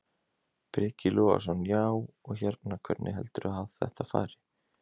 Breki Logason: Já, og hérna, hvernig heldurðu að þetta fari?